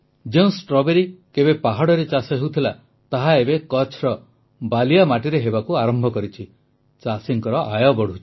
ଯେଉଁ ଷ୍ଟ୍ରବେରୀ କେବେ ପାହାଡ଼ରେ ହେଉଥିଲା ତାହା ଏବେ କଚ୍ଛର ବାଲିଆ ମାଟିରେ ହେବାକୁ ଆରମ୍ଭ କରିଛି ଚାଷୀଙ୍କ ଆୟ ବଢ଼ୁଛି